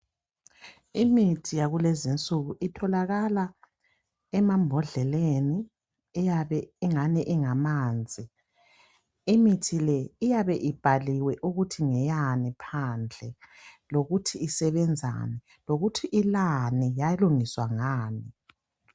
Imithi yakulezi nsuku itholakala emambhodleleni iyabe ingani ingamanzi imithi le iyabe ibhaliwe ukuthi ngeyani phandle lokuthi isebenzani lokuthi ilani yalungiswa ngani.